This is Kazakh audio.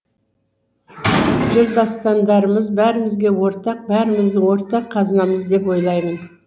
жыр дастандарымыз бәрімізге ортақ бәріміздің ортақ қазынамыз деп ойлаймын